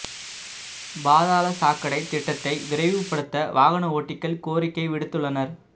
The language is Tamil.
பாதாள சாக்கடை திட்டத்தை விரைவுபடுத்த வாகன ஓட்டிகள் கோரிக்கை விடுத்துள்ளனர